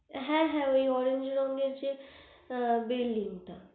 হে হে ঐ orange রঙের যে building টা